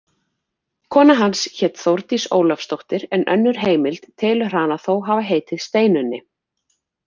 Kona hans hét Þórdís Ólafsdóttir en önnur heimild telur hana þó hafa heitið Steinunni.